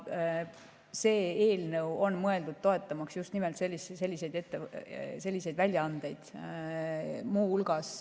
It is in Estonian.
See eelnõu on mõeldud toetama just nimelt selliseid väljaandeid.